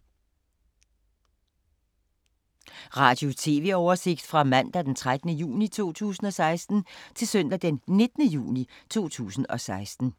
Radio/TV oversigt fra mandag d. 13. juni 2016 til søndag d. 19. juni 2016